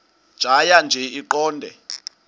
tjhaya nje iqondee